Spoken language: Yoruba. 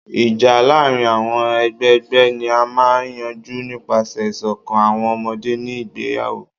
Ija laarin awọn agbegbe ni a maa n yanju nipasẹ iṣọkan awọn ọmọde ni igbeyawo